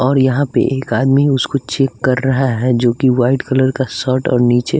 और यहाँ पे एक आदमी उसको चेक कर रहा है जो कि वाइट कलर का सर्ट और नीचे --